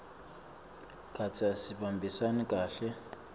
kantsi asihambisani kahle